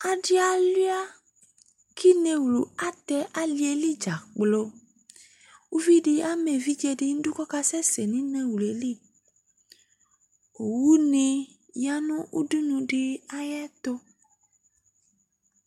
Adɩ alʋɩa kʋ inewlu atɛ alɩ li dza kplo Uvi dɩ ama evidze dɩ nʋ idu kʋ ɔkasɛsɛ nʋ inewlu yɛ li Owunɩ ya nʋ udunu dɩ ayɛtʋ